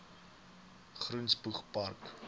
groen spoeg park